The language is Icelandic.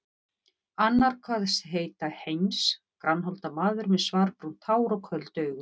Annar kvaðst heita Heinz, grannholda maður með svarbrúnt hár og köld augu.